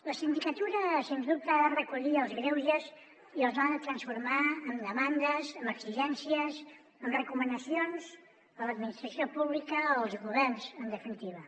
la sindicatura sens dubte ha de recollir els greuges i els ha de transformar en demandes en exigències en recomanacions a l’administració pública als governs en definitiva